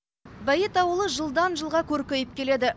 бәйет ауылы жылдан жылға көркейіп келеді